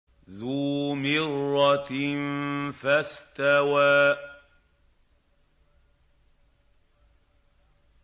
ذُو مِرَّةٍ فَاسْتَوَىٰ